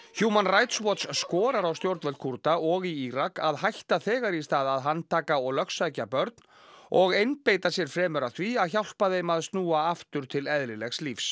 Human Rights Watch skorar á stjórnvöld Kúrda og í Írak að hætta þegar í stað að handtaka og lögsækja börn og einbeita sér fremur að því að hjálpa þeim að snúa aftur til eðlilegs lífs